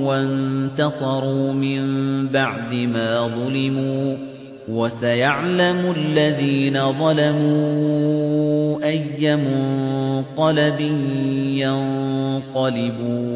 وَانتَصَرُوا مِن بَعْدِ مَا ظُلِمُوا ۗ وَسَيَعْلَمُ الَّذِينَ ظَلَمُوا أَيَّ مُنقَلَبٍ يَنقَلِبُونَ